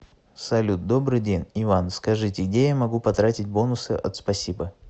салют добрый день иван скажите где я могу потратить бонусы от спасибо